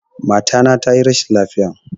Mata na tayi rashin lafiya